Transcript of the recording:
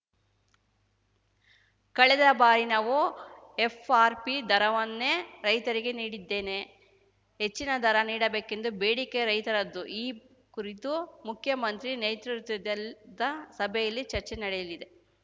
ಕಳೆದ ಬಾರಿ ನಾವು ಎಫ್‌ಆರ್‌ಪಿ ದರವನ್ನೇ ರೈತರಿಗೆ ನೀಡಿದ್ದೇನೆ ಹೆಚ್ಚಿನ ದರ ನೀಡಬೇಕೆಂಬ ಬೇಡಿಕೆ ರೈತರದ್ದು ಈ ಕುರಿತು ಮುಖ್ಯಮಂತ್ರಿ ನೇತೃತ್ವಲ್ ದ ಸಭೆಯಲ್ಲಿ ಚರ್ಚೆ ನಡೆಯಲಿದೆ